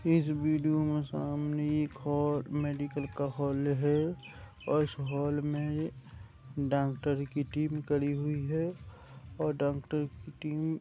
इस वीडियो में सामने एक हो मेडिकल का हॉल है और इस हॉल में डॉक्टर की टीम कड़ी हुई है और डॉक्टर की टीम --